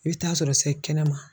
I bɛ taa sɔrɔ sa yi kɛnɛma